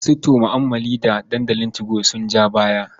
Masu tu'ammali da dandalin 2go sun ja baya.